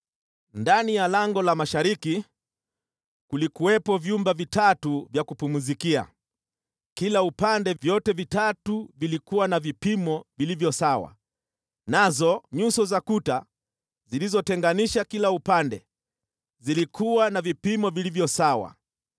Ndani ya lango la mashariki kulikuwepo vyumba vitatu vya kupumzikia kila upande, vyote vitatu vilikuwa na vipimo vilivyo sawa, nazo nyuso za kuta zilizotenganisha kila upande zilikuwa na vipimo vilivyo sawa.